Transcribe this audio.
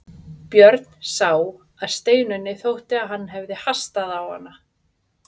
Björn sá að Steinunni þótti að hann hafði hastað á hana.